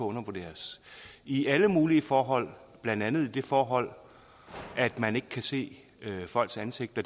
undervurderes i alle mulige forhold blandt andet i det forhold at man ikke kan se folks ansigt og